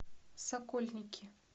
сокольники